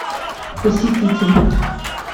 посетитель